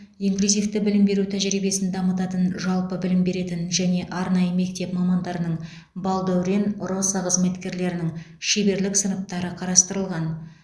инклюзивті білім беру тәжірибесін дамытатын жалпы білім беретін және арнайы мектеп мамандарының балдәурен росо қызметкерлерінің шеберлік сыныптары қарастырылған